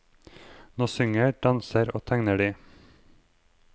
Nå synger, danser og tegner de.